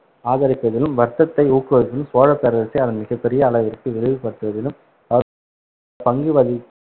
ஆதரிப்பதிலும், வர்க்கத்தை ஊக்குவிப்பதிலும், சோழ பேரரசை அதன் மிகப் பெரிய அளவிற்கு விரிவுபடுத்துவதிலும் அவர் பங்கு வகி~